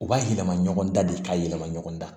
U b'a yɛlɛma ɲɔgɔn da de ka yɛlɛma ɲɔgɔn da